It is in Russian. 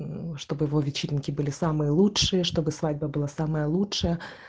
мм чтобы его вечеринки были самые лучшие чтобы свадьба была самая лучшая